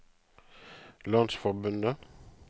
landsforbundet